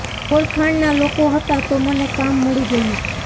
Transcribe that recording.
ઓળખાણ ના લોકો હતા તો મને કામ મળી ગયું